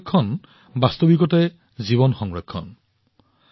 পানী সংৰক্ষণ সঁচাকৈয়ে জীৱনৰ সুৰক্ষা